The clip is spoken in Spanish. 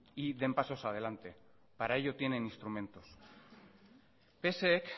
y den pasos adelante para ello tienen instrumentos psek